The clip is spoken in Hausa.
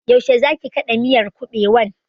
Yaushe zaki kaɗa miyar kuɓewan?